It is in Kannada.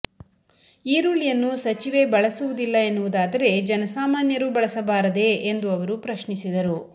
ಈರುಳ್ಳಿಯನ್ನು ಸಚಿವೆ ಬಳಸುವುದಿಲ್ಲ ಎನ್ನುವುದಾದರೆ ಜನಸಾಮಾನ್ಯರೂ ಬಳಸಬಾರದೇ ಎಂದು ಅವರು ಪ್ರಶ್ನಿಸಿದರು